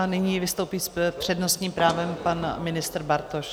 A nyní vystoupí s přednostním právem pan ministr Bartoš.